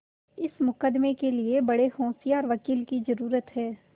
इस मुकदमें के लिए बड़े होशियार वकील की जरुरत है